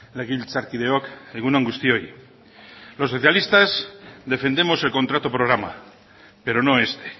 legebiltzarkideok egun on guztioi los socialistas defendemos el contrato programa pero no este